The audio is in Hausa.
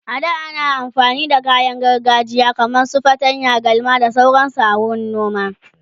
a da ana amfani da kayan gargajiya kaman su fatanya, galma da sauransu a wurin noma.